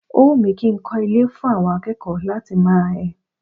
O wù mí kí n kọ́ ilé fún àwọn akẹ́kọ̀ọ́ láti máa ẹ.